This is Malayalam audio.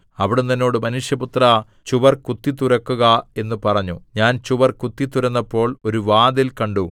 അവിടുന്ന് എന്നോട് മനുഷ്യപുത്രാ ചുവർ കുത്തിത്തുരക്കുക എന്ന് പറഞ്ഞു ഞാൻ ചുവർ കുത്തിത്തുരന്നപ്പോൾ ഒരു വാതിൽ കണ്ടു